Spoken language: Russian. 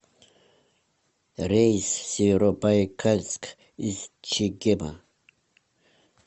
рейс в северобайкальск из чегема